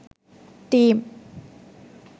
team